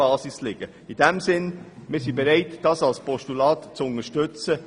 Wir sind in diesem Sinne bereit, den Vorstoss als Postulat zu unterstützen.